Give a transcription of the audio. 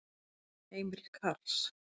Heimir Karls.